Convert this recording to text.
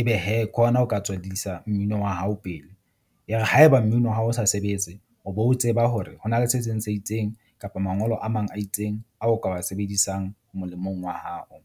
Ebe hee ke hona o ka tswedisa mmino wa hao pele, e re haeba mmino wa hao o sa sebetse, o be o tseba hore ho na le se seng se itseng kapa mangolo a mang a itseng a o ka wa sebedisang molemong wa hao.